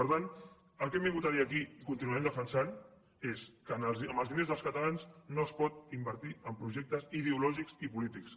per tant el que hem vingut a dir aquí i continuarem defensant és que amb els diners dels catalans no es pot invertir en projectes ideològics i polítics